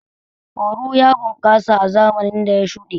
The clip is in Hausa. Oru ya bunƙasa a zamanin da ya shuɗe.